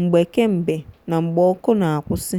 mgbe kembe na mgbe ọkụ na-akwụsị.